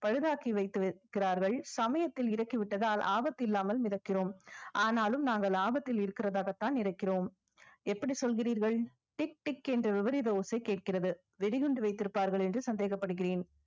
பழுதாக்கி வைத்து இருக்கிறார்கள் சமயத்தில் இறக்கி விட்டதால் ஆபத்தில்லாமல் மிதக்கிறோம் ஆனாலும் நாங்கள் ஆபத்தில் இருக்கிறதாகத்தான் இருக்கிறோம் எப்படி சொல்கிறீர்கள் tik tik என்ற விபரீத ஓசை கேக்கிறது வெடிகுண்டு வைத்திருப்பார்கள் என்று சந்தேகப்படுகிறேன்